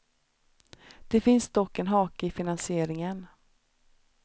Det finns dock en hake i finansieringen.